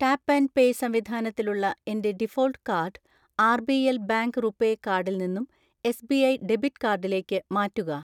Tap and pay സംവിധാനത്തിലുള്ള എൻ്റെ default card RBL bank RuPay കാർഡിൽ നിന്നും എസ്.ബി.ഐ ഡെബിറ്റ് കാർഡിലേക്ക്‌ മാറ്റുക.